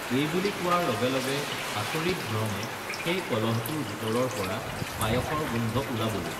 এইবুলি কোৱাৰ লগে লগে আচৰিতধৰণে সেই কলহটোৰ ভিতৰৰপৰা পায়সৰ গোন্ধ ওলাবলে